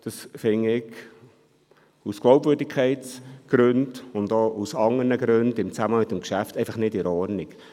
Das finde ich aus Glaubwürdigkeitsgründen, und auch aus anderen Gründen im Zusammenhang mit dem Geschäft, einfach nicht in Ordnung.